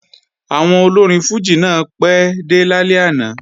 Àwọn olórin fùjì náà pẹ́ dé lálẹ́ àná